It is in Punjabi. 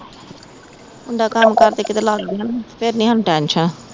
ਮੁੰਡਾ ਕੰਮ ਕਾਰ ਤੇ ਕੀਤੇ ਲੱਗ ਗਿਆ ਨਾ ਫਿਰ ਨੀ ਸਾਨੂ ਟੈਨਸ਼ਨ